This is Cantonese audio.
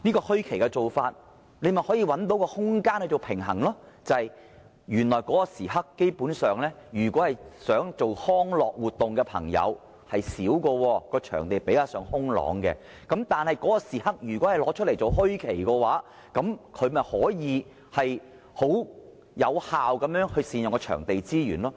"墟期"這做法便可以找到空間來取得平衡，因為在這段時間內，進行康樂活動的朋友基本上會較少，場地使用率也較低，如果把這段時間劃為"墟期"，便可以有效善用場地資源。